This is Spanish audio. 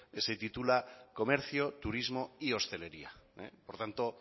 que se titula comercio turismo y hostelería por lo tanto